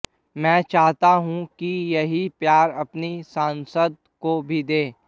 मैं चाहता हूं कि यही प्यार अपनी सांसद को भी दें